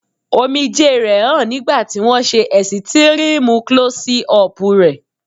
Omijé rẹ̀ hàn nígbà tí wón ṣe ẹ̀sítírímú Klọ́sí ọpù rẹ̀.